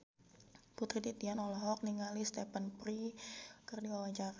Putri Titian olohok ningali Stephen Fry keur diwawancara